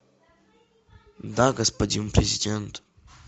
да господин президент